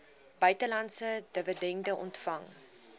buitelandse dividende ontvang